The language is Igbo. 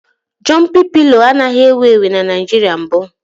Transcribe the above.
Jọmpị pịlo anaghị ewu ewu na Naịjirịa mbụ